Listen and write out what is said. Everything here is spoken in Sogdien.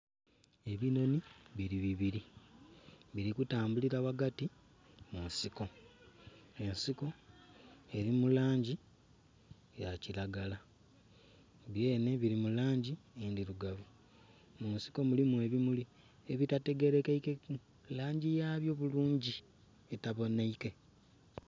Ebinhonhi bili bibili bili kutambulila ghagati mu nsiko, ensiko eli mu langi ya kilagala. Byenhe bili mu langi endhilugavu. Mu nsiko mulimu ebimuli ebitategelekeike langi yabyo bulungi, etabonheike